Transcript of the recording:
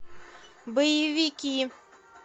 боевики